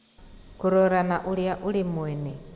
Kũrora na Ũrĩa Ũrĩ Mwene: